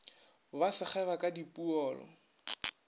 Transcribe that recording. ba se kgeba ka dipoolo